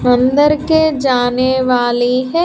अंदर के जाने वाली --